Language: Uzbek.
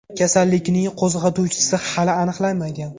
Kasallikning qo‘zg‘atuvchisi hali aniqlanmagan.